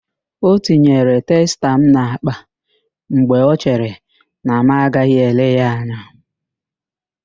Ọ tinyere testa m n'akpa mgbe ọ chere na mụ anaghị ele ya anya.